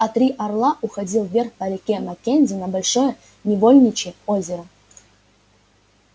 а три орла уходил вверх по реке маккензи на большое невольничье озеро